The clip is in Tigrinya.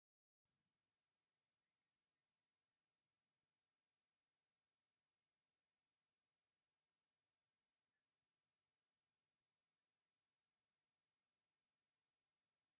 ናይ ቀደም ናይ ትግርኛ ተፈታዊን ብጣዕሚ ንትግርኛ ደርፊታት ዓብይ ተራ ዘለዎ ደራፊ እዩ ካብ ደርፍታቱ ምቅናይ ምቅናይ ዝብልን ዘለዎ ደራፊ መን ይበሃል ?